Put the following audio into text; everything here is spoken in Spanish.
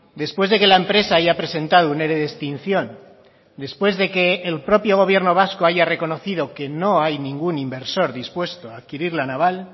después de que la empresa haya presentado un ere de extinción después de que el propio gobierno vasco haya reconocido que no hay ningún inversor dispuesto a adquirir la naval